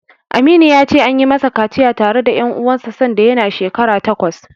Aminu ya ce, an yi masa kaciya tare da ƴan uwansa sanda yana shekara takwas.